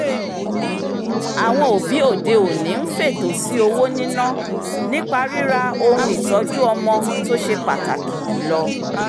àwọn òbí òde-òní ń fètò sí owó níná nípa ríra ohun-ìtọ́jú-ọmọ tó ṣe pàtàkì jùlọ